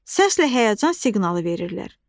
Səslə həyəcan siqnalı verirlər.